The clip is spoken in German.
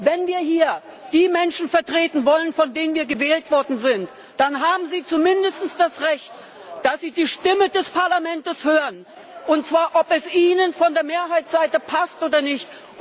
Wenn wir hier die Menschen vertreten wollen, von denen wir gewählt worden sind, dann haben sie zumindest das Recht, dass sie die Stimme des Parlaments hören, und zwar ob es Ihnen von der Mehrheitsseite passt oder nicht.